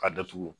Ka datugu